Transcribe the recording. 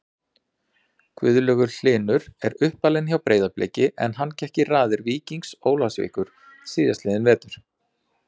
Gunnlaugur Hlynur er uppalinn hjá Breiðabliki en hann gekk í raðir Víkings Ólafsvíkur síðastliðinn vetur.